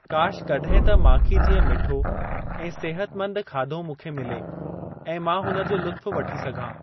काश कॾहिं त माखी जिअं मिठो ऐं सेहतमंद खाधो मुखे मिले ऐं मां हुनजो लुत्‍फ वठी सघां।